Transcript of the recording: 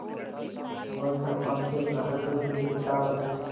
वह कृपाण से अपना हृदयपिंड निकाल अपने